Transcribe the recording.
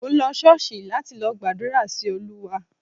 Mò ń lọ Ṣọ́ọ̀ṣì láti lọ gbàdúrà sí Olúwa